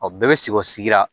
O bɛɛ bɛ sigi o sigira